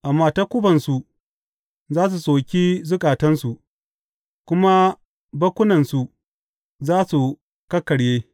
Amma takubansu za su soki zukatansu, kuma bakkunansu za su kakkarye.